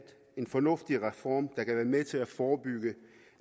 en fornuftig reform der kan være med til at forebygge